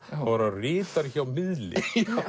var hann ritari hjá miðli